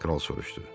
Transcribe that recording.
Kral soruşdu.